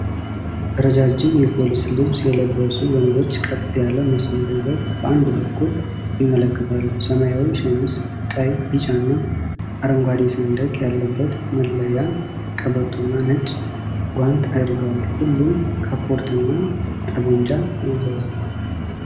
ረዣዥም የፖሊስ ልብስ የለበሱ ወንዶች ቀጥ ያለ መስመር ይዘው በአንድ በኩል ይመለከታሉ። ሰማያዊ ሸሚዝ፣ ቀይ፣ ቢጫና አረንጓዴ ሰንደቅ ያለበት መለያ ቀበቶና ነጭ ጓንት አድርገዋል። ሁሉም ካፖርትና ጠመንጃ ይዘዋል።